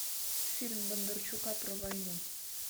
фильм бондарчука про войну